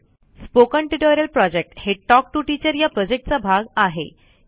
spoken tutorial project हे talk to teacher या प्रॉजेक्टचा भाग आहे